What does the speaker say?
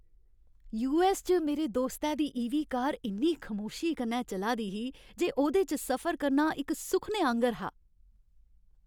US च मेरे दोस्तै दी ईवी कार इन्नी खमोशी कन्नै चला दी ही जे ओह्दे च सफर करना इक सुखने आंह्गर हा।